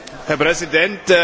Herr Präsident!